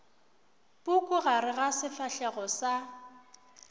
puku gare ga sefahlego sa